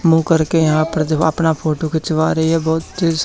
मुंह करके यहां पर जब अपना फोटो खिंचवा रही है बहुत दे--